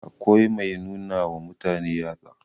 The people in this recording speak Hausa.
akwai Mai nuna wa mutane yatsa